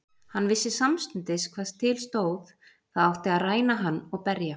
Hann vissi samstundis hvað til stóð, það átti að ræna hann og berja.